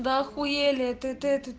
ахуели это